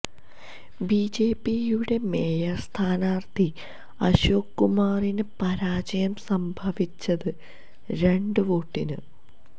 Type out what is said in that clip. ബിജെപിയുടെ മേയര് സ്ഥാനാര്ഥി അശോക് കുമാറിന് പരാജയം സംഭവിച്ചത് രണ്ട് വോട്ടിന്